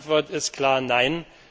Die Antwort ist klar